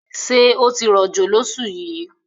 Ṣé ó ti rọ̀jò lọ́ṣù yìí?